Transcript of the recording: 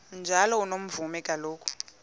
njalo unomvume kuloko